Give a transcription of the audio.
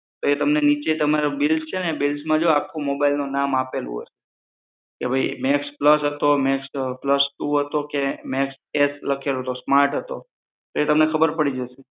તો એ નીચે તમને નીચે તમારા બિલ્સ છે ને બિલ્સમાં આખું mobile નું નામ આપેલું હશે કે ભાઈ મેક્સ પ્લસ હતો કે મેક્સ પ્લસ ટુ હતો કે મેક્સ એફ લખેલો હતો સ્માર્ટ હતો એ તમને ખબર પડી જશે